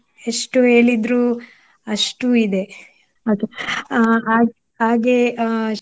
ಎಷ್ಟು ಹೇಳಿದ್ರು ಅಷ್ಟು ಇದೆ ಅದು. ಅಹ್ ಹಾಗ್~ ಹಾಗೆ ಅಹ್